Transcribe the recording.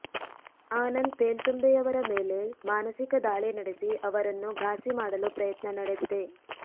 ಆನಂದ್ ತೇಲ್ತುಂಬೆಯವರ ಮೇಲೆ ಮಾನಸಿಕ ದಾಳಿ ನಡೆಸಿ ಅವರನ್ನು ಘಾಸಿ ಮಾಡಲು ಪ್ರಯತ್ನ ನಡೆದಿದೆ